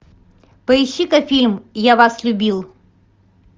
поищи ка фильм я вас любил